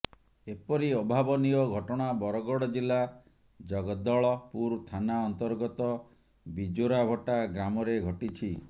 ଏପରି ଅଭାବନୀୟ ଘଟଣା ବରଗଡ ଜିଲା ଜଗଦଳପୁର ଥାନା ଅନ୍ତର୍ଗତ ବିଜୋରାଭଟା ଗ୍ରାମରେ ଘଟିଛି